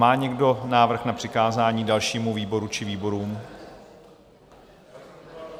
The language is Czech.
Má někdo návrh na přikázání dalšímu výboru či výborům?